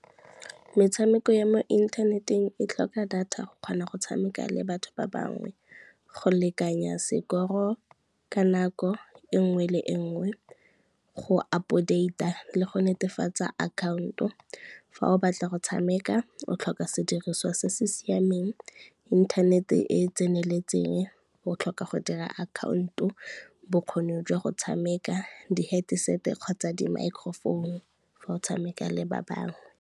Metshameko ya mo inthaneteng e tlhoka data go kgona go tshameka le batho ba bangwe, go lekanya sekoro ka nako e ngwe le e ngwe, go update-a le go netefatsa account-o. Fa o batla go tshameka o tlhoka sediriswa se se siameng, internet-e e tseneletseng, o tlhoka go dira account-o, bokgoni jwa go tshameka, di-headset-e kgotsa di-microphone fa o tshameka le ba bangwe.